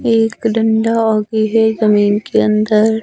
एक डंडा और भी है जमीन के अंदर--